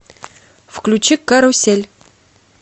включи карусель